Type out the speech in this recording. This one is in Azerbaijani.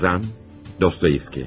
Yazan, Dostoyevski.